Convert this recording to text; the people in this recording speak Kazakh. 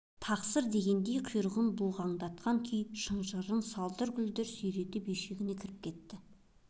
тақсыр дегендей құйрығын бұлғаңдатқан күй шынжырын салдыр-гүлдір сүйретіп үйшігіне кіріп кетті